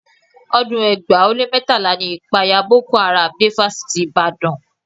Ọdún ẹgbàá ó lé mẹ́tàlá ni ìpayà Boko Haram dé Fásitì Ìbàdàn